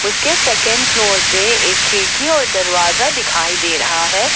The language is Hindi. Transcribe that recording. उसके सेकंड फ्लोर पे एक खिड़की और दरवाजा दिखाई दे रहा है।